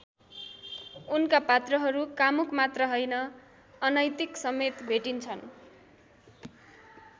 उनका पात्रहरू कामुक मात्र हैन अनैतिकसमेत भेटिन्छन्।